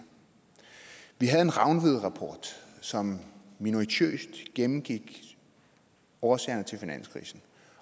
vi havde en rangvidrapport som minutiøst gennemgik årsagerne til finanskrisen